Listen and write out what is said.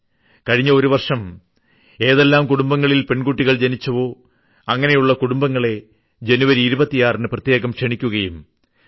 കഴിഞ്ഞ ഒരു വർഷം ഏതെല്ലാം കുടുംബങ്ങളിൽ പെൺകുട്ടികൾ ജനിച്ചുവോ അങ്ങിനെയുള്ള കുടുംബങ്ങളെ ജനുവരി 26 ന് പ്രത്യേകം ക്ഷണിക്കുകയും വി